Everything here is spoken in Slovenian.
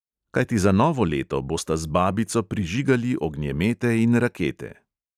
Kajti za novo leto bosta z babico prižigali ognjemete in rakete.